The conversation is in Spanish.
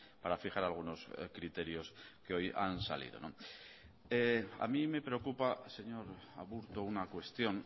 para fijar algunos criterios que hoy han salido a mí me preocupa señor aburto una cuestión